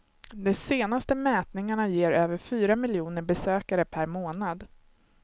De senaste mätningarna ger över fyra miljoner besökare per månad.